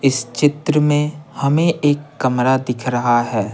इस चित्र में हमें एक कमरा दिख रहा है।